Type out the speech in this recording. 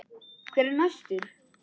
Hver er næstur?